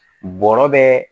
Bɔrɔ bɛ